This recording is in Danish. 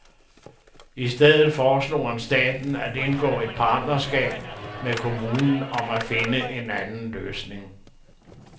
I stedet foreslog han staten at indgå et partnerskab med kommunen om at finde en anden løsning.